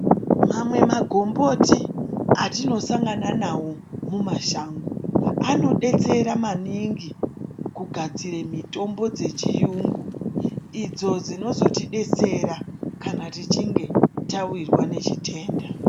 Mamwe magomboti atinosangana nawo mumashango anodetsera maningi kugadzire mitombo dzechiyungu idzo dzinozotidetsera kana tichinge tawirwa nechitenda.